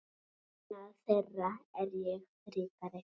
Vegna þeirra er ég ríkari.